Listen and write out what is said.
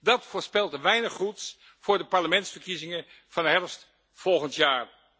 Dat voorspelt weinig goeds voor de parlementsverkiezingen van herfst volgend jaar.